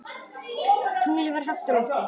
Tunglið var hátt á lofti.